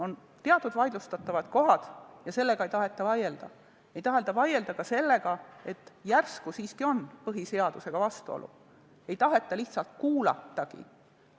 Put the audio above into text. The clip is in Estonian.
On teatud vaidlustatavad kohad, aga selle üle ei taheta vaielda, ei taheta vaielda ka selle üle, et järsku siiski on põhiseadusega vastuolu – ei taheta lihtsalt kuulatagi.